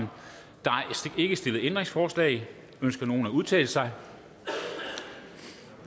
er ikke stillet ændringsforslag ønsker nogen at udtale sig